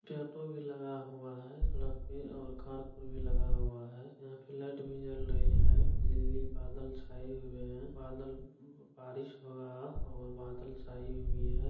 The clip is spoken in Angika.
ऑटो भी लगा हुआ है और कार को भी लगा हुआ है यहाँ पे लाइट भी जल रही है बिजली बादल छाये हुए हैं बादल बा-बारीश हुआ और बादल छाए हुए है।